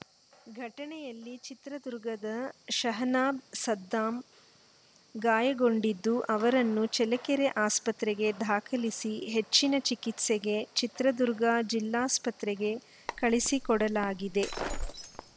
ಘಟನೆಯಲ್ಲಿ ಚಿತ್ರದುರ್ಗದ ಶಹನಾಬ್‌ಸದ್ದಾಂ ಗಾಯಗೊಂಡಿದ್ದು ಅವರನ್ನು ಚೆಳ್ಳಕೆರೆ ಆಸ್ಪತ್ರೆಗೆ ದಾಖಲಿಸಿ ಹೆಚ್ಚಿನ ಚಿಕಿತ್ಸೆಗೆ ಚಿತ್ರದುರ್ಗ ಜಿಲ್ಲಾಸ್ಪತ್ರೆಗೆ ಕಳಿಸಿಕೊಡಲಾಗಿದೆ